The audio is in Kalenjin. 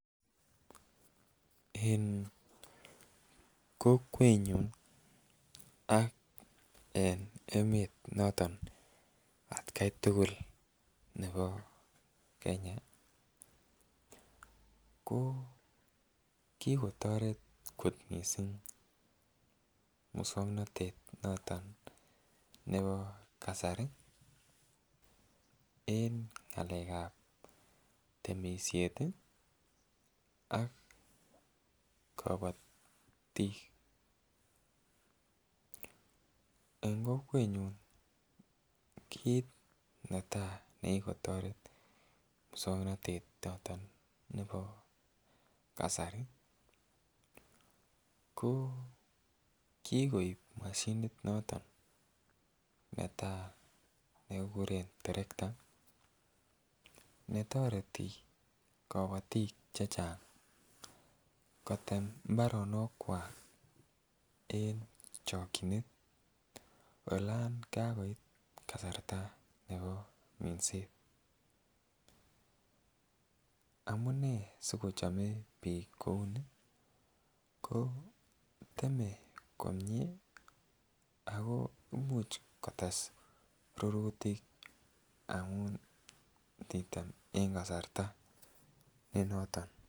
En kokwenyun ak en emet noton atgai tukul nebo Kenya ko kikotoret kot missing muswoknotet noton nebo kasari en ngelekab temishet ak kobotik . En kokwenyun kit netai nekiikotoret muswoknotet noton nebo kasari ko kikoib moshinit noton netai nekikuren terekta netoreti kobotik chechang kotem imbaronok kwak en chokinet elok kakoit kasarta nebo minset. Amunee siochome bik kouni ko teme komie ako imuch kotes rurutik amun titem en kasarta nenenoton.